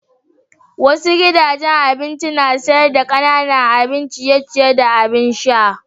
Wasu gidajen abinci na sayar da kananan abin ciye-ciye da abin sha.